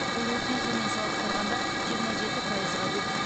бұл өткен жылмен салыстырғанда жиырма жеті пайызға көп